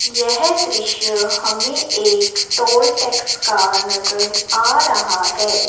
यह दृश्य हमे एक टोल टैक्स का नज़र आ रहा है।